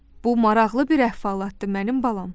Bu maraqlı bir əhvalatdır mənim balam.